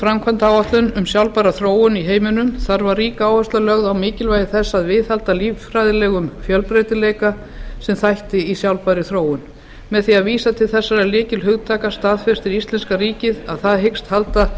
framkvæmdaáætlun um sjálfbæra þróun í heiminum þar var rík áhersla lögð á mikilvægi þess að viðhalda líffræðilegum fjölbreytileika sem þætti í sjálfbærri þróun með því að vísa til þessara lykilhugtaka staðfestir íslenska ríkið að það hyggist halda